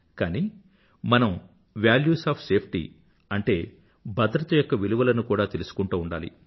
కానీ మనం values of safety అంటే భద్రత యొక్క విలువలను కూడా తెలుసుకుంటూ ఉండాలి